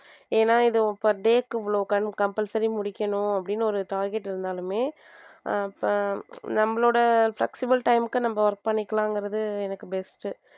ஏன்னா இது per day க்கு இவ்ளோ compulsory முடிக்கணும் அப்படின்னு ஒரு target இருந்தாலுமே அஹ் இப்ப நம்மளோட flexible time க்கு நம்ம work பண்ணிக்கலாங்கிறது எனக்கு best